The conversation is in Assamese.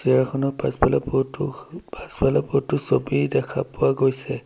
চেয়াৰ খনৰ পাছফালে বহুতো পাছফালে বহুতো ছবি দেখা পোৱা গৈছে।